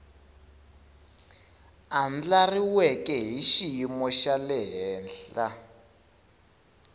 andlariweke hi xiyimo xa le